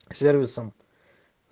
сервисом